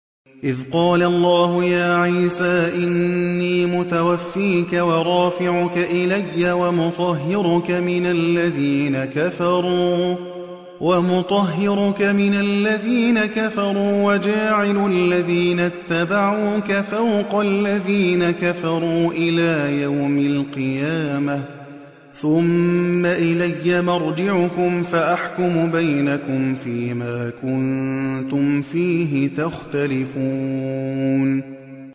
إِذْ قَالَ اللَّهُ يَا عِيسَىٰ إِنِّي مُتَوَفِّيكَ وَرَافِعُكَ إِلَيَّ وَمُطَهِّرُكَ مِنَ الَّذِينَ كَفَرُوا وَجَاعِلُ الَّذِينَ اتَّبَعُوكَ فَوْقَ الَّذِينَ كَفَرُوا إِلَىٰ يَوْمِ الْقِيَامَةِ ۖ ثُمَّ إِلَيَّ مَرْجِعُكُمْ فَأَحْكُمُ بَيْنَكُمْ فِيمَا كُنتُمْ فِيهِ تَخْتَلِفُونَ